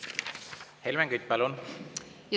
Helmen Kütt, palun!